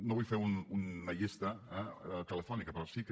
no vull fer una llista eh telefònica però sí que